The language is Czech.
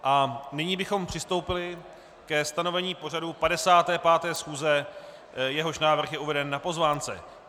A nyní bychom přistoupili ke stanovení pořadu 55. schůze, jehož návrh je uveden na pozvánce.